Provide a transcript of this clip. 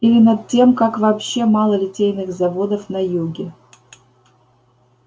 или над тем как вообще мало литейных заводов на юге